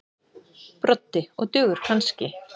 Broddi: Og dugar kannski.